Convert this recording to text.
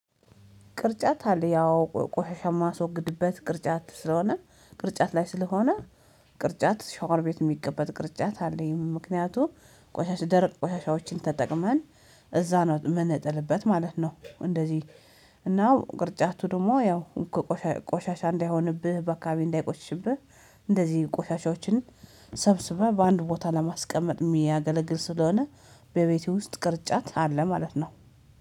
ቅርጫት አለ ያው ቆሻሻ ማስወግድበት ቅርጫት ስለሆነ ቅርጫት ላይ ስለሆነ ቅርጫት ሻወር ቤት የሚገመጥ ቅርጫት አለኝ ምክንያቱም ቆሻሻ ደርቅ ቆሻሻዎችን ተጠቅመን እዛ ነው የምንጥልበት ማለት ነው። እንደዚህ እና ቅርጫቱ ደግሞ ያው ቆሻሻ እንዳይሆንብህ ባከባቢ እንዳይቆሽሽብህ እንደዚህ ቆሻሻዎችን ሰብስበህ በአንድ ቦታ ለማስቀመጥ የሚያገለግል ስለሆነ በቤቴ ውስጥ ቅርጫት አለ ማለት ነው